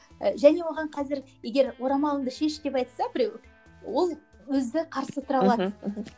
і және оған қазір егер орамалыңды шеш деп айтса біреу ол өзі қарсы тұра алады мхм